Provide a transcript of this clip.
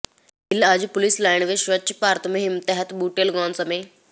ਗਿੱਲ ਅੱਜ police line ਵਿਚ ਸਵੱਛ ਭਾਰਤ ਮੁਹਿੰਮ ਤਹਿਤ ਬੂਟੇ ਲਗਾਉਣ ਸਮੇਂ